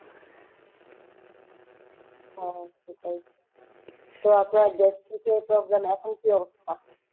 হ্যাঁ সেটাই তো আপনার gastric এর problem এখন কী অবস্থা?